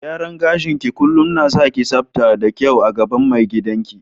Gyaran gashi ki kullum na sa ki sabta da kyau a gaban mai gidan ki.